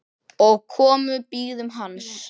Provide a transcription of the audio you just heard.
og komu bíðum hans